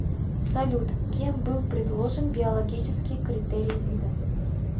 салют кем был предложен биологический критерий вида